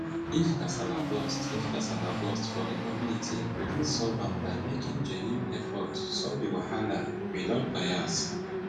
if kasala burst if kasala burst for di community we fit solve am by making genuine effort to solve di wahala without bias